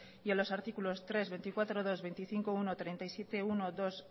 y a los artículos tres veinticuatro punto dos veinticinco punto uno treinta y siete punto uno dos